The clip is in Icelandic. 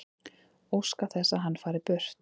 Óska þess að hann fari burt.